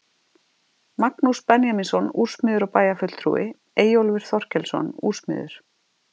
Magnús Benjamínsson úrsmiður og bæjarfulltrúi, Eyjólfur Þorkelsson úrsmiður